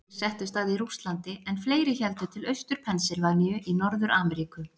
Margir settust að í Rússlandi en fleiri héldu til Austur-Pennsylvaníu í Norður-Ameríku.